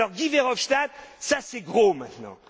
Alors, Guy Verhofstadt, ça c'est gros, maintenant.